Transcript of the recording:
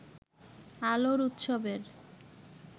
আলোর উৎসবের